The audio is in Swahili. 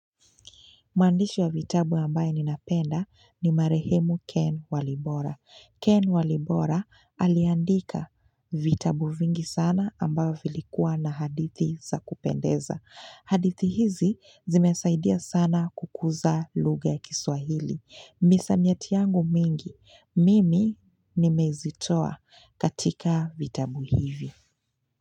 Mandishi wa vitabu ambaye ninapenda ni Marehemu Ken Walibora. Ken Walibora aliandika vitabu vingi sana ambavyo vilikuwa na hadithi za kupendeza. Hadithi hizi zimesaidia sana kukuza lugha ya kiswahili. Misamiati yangu mingi, mimi nimezitoa katika vitabu hivi.